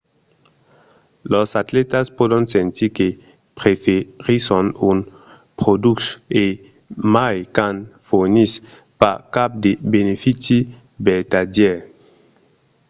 los atlètas pòdon sentir que preferisson un produch e mai quand fornís pas cap de benefici vertadièr